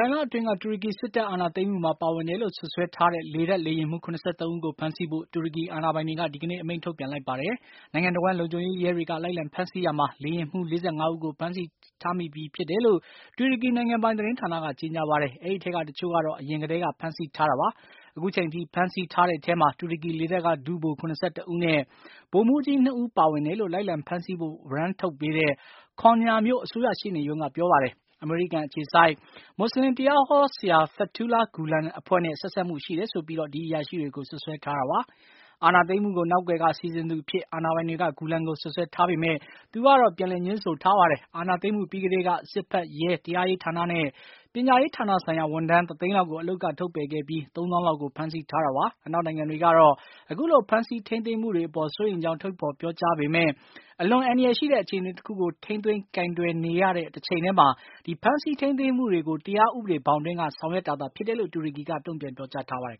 င်လအတွင်းက တူရကီစစ်တပ်အာဏာသိမ်းမှုမှာပါဝင်တယ်လို့ စွပ်စွဲထားတဲ့ လေတပ် လေယာဉ်မှူး ၇၃ ဦးကို ဖမ်းဆီးဖို့ တူရကီအာဏာပိုင်တွေက ဒီကနေ့ အမိန့်ထုတ်ပြန်လိုက်ပါတယ်။ နိုင်ငံတဝှမ်း လုံခြုံရေးရဲတွေက လိုက်လံဖမ်းဆီးရာမှာ လေယာဉ်မှူး ၄၅ ဦးကို ဖမ်းဆီးမိထားပြီးဖြစ်တယ်လို့ တူရကီနိုင်ငံပိုင်သတင်းဌာနက ကြေညာပါတယ်။ အဲဒီထဲကတချို့ကတော့ အရင်ကတည်းက ဖမ်းဆီးထားတာပါ။ အခုချိန်ထိ ဖမ်းဆီးထားတဲ့ထဲမှာ တူရကီလေတပ်က ဒုဗိုလ် ၇၁ ဦးနဲ့ ဗိုလ်မှူးကြီး ၂ ဦးပါဝင်တယ်လို့ လိုက်လံဖမ်းဆီးဖို့ ဝရမ်းထုတ်ပေးတဲ့ Konya မြို့ အစိုးရရှေ့နေရုံးက ပြောပါတယ်။ အမေရိကန်အခြေစိုက် မူဆလင်တရားဟောဆရာ Fetullah Gulen အဖွဲ့နဲ့ ဆက်စပ်မှုရှိတယ်ဆိုပြီး ဒီအရာရှိတွေကို စွပ်ဆွဲထားတာပါ။ အာဏာသိမ်းမှုကို နောက်ကွယ်က စီစဉ်သူအဖြစ် အာဏာပိုင်တွေက Gulen ကို စွပ်ဆွဲထားပေမယ့် သူကတော့ ငြင်းဆိုထားပါတယ်။ အာဏာသိမ်းမှုပြီးကတည်းက စစ်ဖက်၊ ရဲ၊ တရားရေးဌာနနဲ့ ပညာရေးဌာနဆိုင်ရာ ဝန်ထမ်း ၁ သိန်းလောက်ကို အလုပ်က ထုတ်ပယ်ခဲ့ပြီး ၃ သောင်းလောက်ကို ဖမ်းဆီးထားတာပါ။ အနောက်နိုင်ငံတွေကတော့ အခုလို ဖမ်းဆီးထိန်းသိမ်းမှုတွေအပေါ် စိုးရိမ်ကြောင်း ထုတ်ဖေါ်ပြောကြားပေမယ့် အလွန်အန္တရာယ်ရှိတဲ့အခြေအနေတခုကို ထိန်းသိမ်းကိုင်တွယ်နေတဲ့ တချိန်တည်းမှာ ဖမ်းဆီးထိန်းသိမ်းမှုတွေကို တရားဥပဒေဘောင်အတွင်းက ဆောင်ရွက်တာဖြစ်တယ်လို့ တူရကီက တုန့်ပြန်ပြောကြားထားပါတယ်